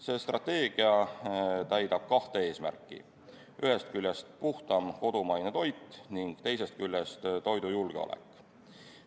See strateegia täidab kahte eesmärki: ühest küljest puhtam kodumaine toit ning teisest küljest toidujulgeolek.